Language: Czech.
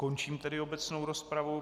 Končím tedy obecnou rozpravu.